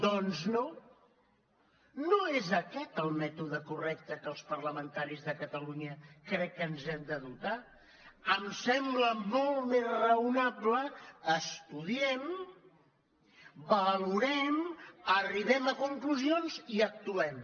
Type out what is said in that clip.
doncs no no és aquest el mètode correcte que els parlamentaris de catalunya crec que ens hem de dotar em sembla molt més raonable estudiem valorem arribem a conclusions i actuem